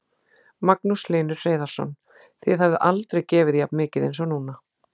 Magnús Hlynur Hreiðarsson: Þið hafið aldrei gefið jafn mikið eins og núna?